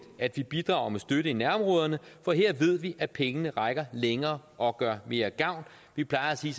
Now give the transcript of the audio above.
at vi bidrager med støtte i nærområderne for her ved vi at pengene rækker længere og gør mere gavn vi plejer at sige